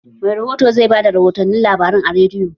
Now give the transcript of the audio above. Mai rihoto zai bada rihotun labarai a rediyo